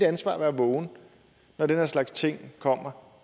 ansvar at være vågen når den her slags ting kom